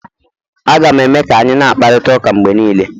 Aga m eme ka anyị na-akparịta ụka mgbe niile